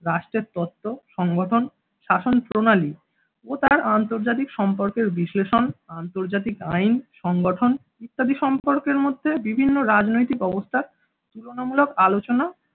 রাষ্ট্রের তত্ত্ব সংগঠন শাসন প্রণালী ও তার আন্তর্জাতিক সম্পর্কের বিশ্লেষণ আন্তর্জাতিক আইন সংগঠন ইত্যাদি সম্পর্কের মধ্যে বিভিন্ন রাজনৈতিক অবস্থান তুলনামূলক আলোচনা